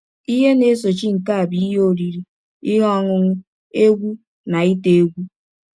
Ihe na - esochi nke a bụ ihe oriri, ihe ọṅụṅụ, egwú, na ite egwú.